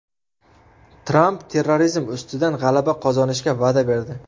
Tramp terrorizm ustidan g‘alaba qozonishga va’da berdi.